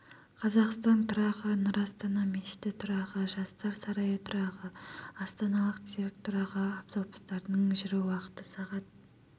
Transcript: қазақстан тұрағы нұр астана мешіті тұрағы жастар сарайы тұрағы астаналық цирк тұрағы автобустардың жүру уақыты сағ